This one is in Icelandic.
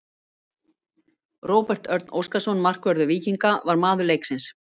Róbert Örn Óskarsson, markvörður Víkinga, var maður leiksins.